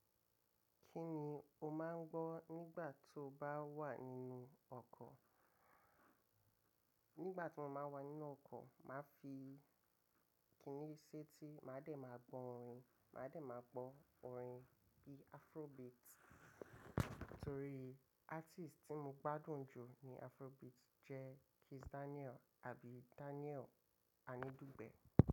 Kí ni o máa ń gbọ́ nígbà tí o bá wà nínú ọkọ̀? Nígbà tí mo máa ń wà nínú ọkọ̀, màá fi kìíní ṣẹ́ẹ́ti, màá dẹ̀ máa gbọ́ orin. Màá dẹ̀ máa gbọ́ orin bíi Afrobeat. Torí artist tí mo gbádùn jù ní Afrobeat jẹ́ Kiss Daniel àbí Daniel Anidugbe.